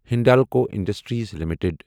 Hindalco industries limited